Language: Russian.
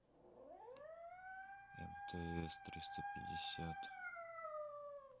мтс триста пятьдесят